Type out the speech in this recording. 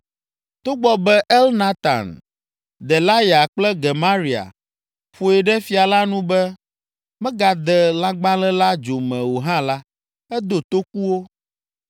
Togbɔ be Elnatan, Delaya kple Gemaria ƒoe ɖe fia la nu be megade lãgbalẽ la dzo me o hã la, edo toku wo.